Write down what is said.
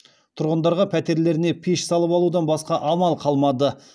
тұрғындарға пәтерлеріне пеш салып алудан басқа амал қалмады